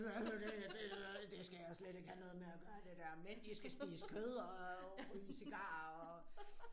Hvad er nu det her det det skal jeg slet ikke have noget med at gøre det der mænd de skal spise kød og ryge cigarer og